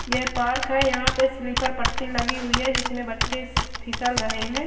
ये पार्क है जहाँ पर स्लीपर पट्टी लगी हुई है जिसमे बच्चे स फिसल रहे है।